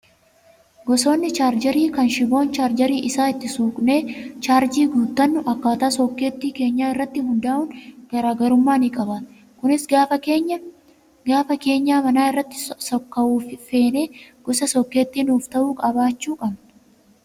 Gosoonni chaarjarii kan shiboon chaarjarii isaa itti suuqnee chaarjii guuttannu akkaataa sokkeettii keenyaa irratti hundaa'uun garaagarummaa ni qabaata. Kunis gaafa keenyaa manaa irratti sokka'uu feene gosa sokkeettii nuuf ta'uu qabaachuu qabna.